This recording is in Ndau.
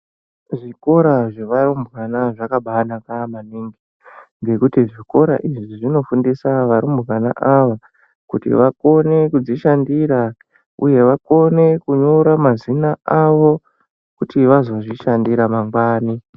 Zvikora zvevarumbwana zvaka baa naka maningi ngekuti zvikora izvi zvinofundisa varumbwana ava kuti vakone kudzishandira uye vakone kunyora mazina avo kuti vazozvishandira mangwani.